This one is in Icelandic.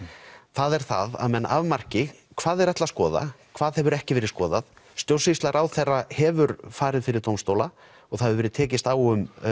það er það að menn afmarki hvað þeir ætli að skoða hvað hefur ekki verið skoðað stjórnsýsla ráðherra hefur farið fyrir dómstóla og það hefur verið tekist á um